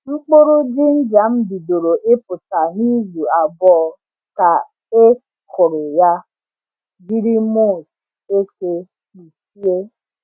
Mkpụrụ jinja m bidoro ịpụta n’izu abụọ ka e kụrụ ya jiri mulch eke kpuchie.